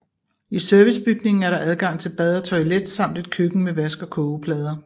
I servicebygningen er der adgang til bad og toilet samt et køkken med vask og kogeplader